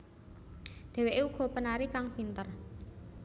Dheweké uga penari kang pinter